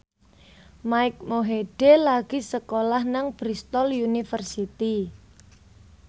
Mike Mohede lagi sekolah nang Bristol university